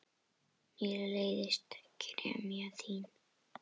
Mér leiðist gremja þín.